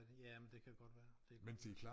Ja men det kan godt være det godt være